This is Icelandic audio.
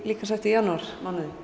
líkamsræktar í janúar